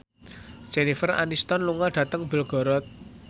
Jennifer Aniston lunga dhateng Belgorod